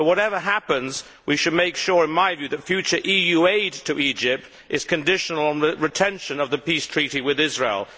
Whatever happens, we should make sure that future EU aid to Egypt is conditional on retention of the peace treaty with Israel.